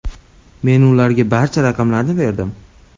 Men ularga barcha raqamlarni berdim.